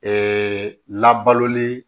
Ɛɛ labaloli